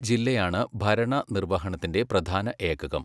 ജില്ലയാണ് ഭരണനിര്വഹണത്തിന്റെ പ്രധാന ഏകകം.